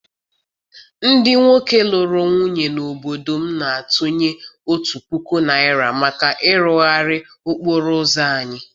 Ndị nwoke lụrụ nwunye n’obodo m na-atụnye otu puku naira maka ịrụgharị okporo ụzọ anyị.